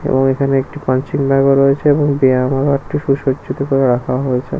এবং এখানে একটা পাঞ্চিং ব্যাগ রয়েছে এবং একটা সুসজ্জিত করে রাখা হয়েছে।